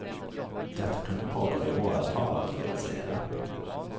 Detta kunde pågå i åratal om det ville sig illa.